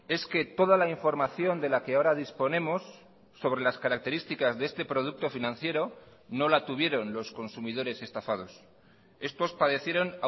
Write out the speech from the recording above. es que toda la información de la que ahora disponemos sobre las características de este producto financiero no la tuvieron los consumidores estafados estos padecieron